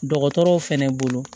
Dɔgɔtɔrɔw fɛnɛ bolo